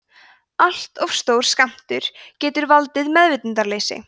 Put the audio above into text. allt of stór skammtur getur valdið meðvitundarleysi